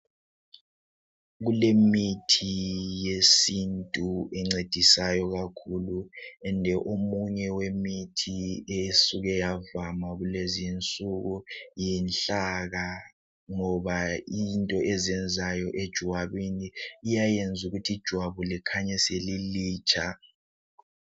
Kulemithi yesintu engcedisayo kakhulu njalo omunye wemithi osuke wavama kulezi insuku yinhlaka ngoba ikhona into ezenzayo ejwabini iyayenza ukuthi ijwabu likhanye selilitsha